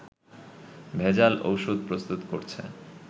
ভেজাল ওষুধ প্রস্তুত করছে